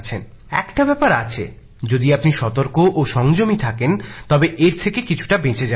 এখানে একটা বিষয় যদি আপনি সতর্ক ও সংযমী থাকেন তবে এর থেকে কিছুটা বেঁচে যাবেন